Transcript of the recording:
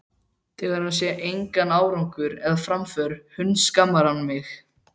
Þegar hann sér engan árangur eða framför hundskammar hann mig.